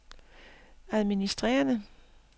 administrerende